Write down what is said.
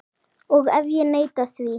Og ef ég neita því?